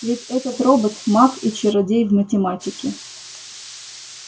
ведь этот робот маг и чародей в математике